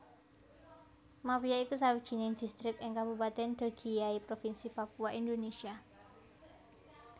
Mapia iku sawijining distrik ing Kabupatèn Dogiyai Provinsi Papua Indonesia